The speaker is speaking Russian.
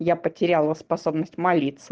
я потеряла способность молиться